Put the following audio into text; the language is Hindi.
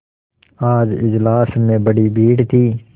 आज इजलास में बड़ी भीड़ थी